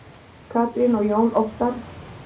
Katrín og Jón Óttarr.